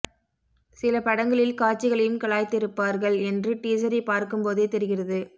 சில படங்களில் காட்சிகளையும் கலாய்த்திருப்பார்கள் என்று டீஸரை பார்க்கும்போதே தெரிகிறது